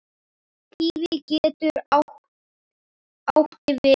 Kíví getur átti við